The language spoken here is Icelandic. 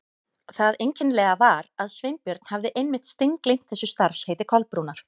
Það einkennilega var að Sveinbjörn hafði einmitt steingleymt þessu starfsheiti Kolbrúnar.